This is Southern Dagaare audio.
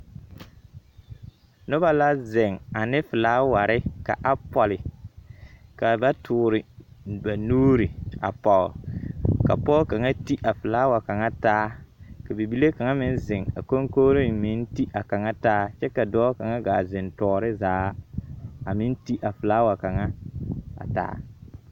Noba la zeŋ ane filaaware ka a pͻle. Kaa ba toore ba nuuri a pͻgere. Ka pͻge kaŋa te a filaawa kaŋa taa. Ka bibile kaŋ meŋ zeŋ a koŋkogiriŋ meŋ te a kaŋa taa kyԑ ka dͻͻ kaŋa gaa zeŋe tͻͻre zaa a meŋ te a filaawa kaŋa a taa.